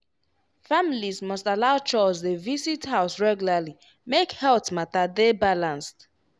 families must allow chws dey visit house regularly make health matter dey balanced.